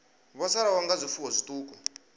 vho sala nga zwifuwo zwiṱuku